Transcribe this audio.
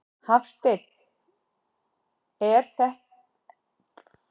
Hafsteinn: En þetta eru verulegar upphæðir?